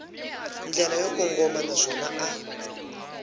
ndlela yo kongoma naswona a